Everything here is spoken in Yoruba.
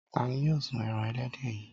Ta ni yóò sun ẹran ẹlẹ́dẹ̀ yìí?